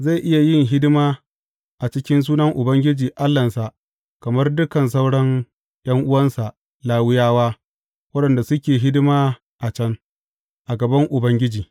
Zai iya yin hidima a cikin sunan Ubangiji Allahnsa kamar dukan sauran ’yan’uwansa Lawiyawa waɗanda suke hidima a can, a gaban Ubangiji.